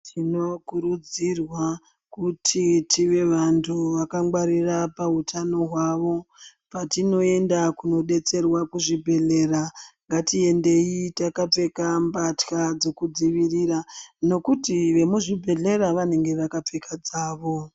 Tinokurudzirwa kuti tive vantu vakangwarira pahutano hwavo. Patinoenda kunobetserwa kuzvibhedhlera ngatiendei takapfeka mbatya dzekudzivirira, nokuti vemuzvibhedhlera vononga vakapfeka dzavo.